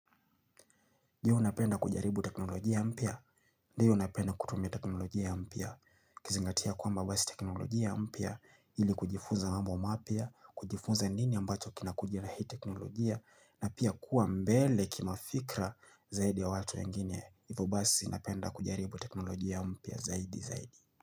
Je, unapenda kujaribu teknolojia mpya? Ndiyo unapenda kutumia teknolojia ampia? Kizingatia kwamba wes teknolojia mpya ili kujifuza mambo mapya, kujifuza nini ambacho kinakuja na hii teknolojia na pia kuwa mbele kimafikra zaidi ya watu wengine. Ivyo basi napenda kujaribu teknolojia mpya zaidi zaidi.